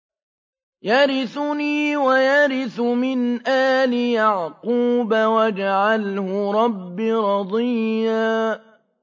يَرِثُنِي وَيَرِثُ مِنْ آلِ يَعْقُوبَ ۖ وَاجْعَلْهُ رَبِّ رَضِيًّا